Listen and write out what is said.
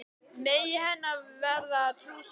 Megi henni verða að trú sinni.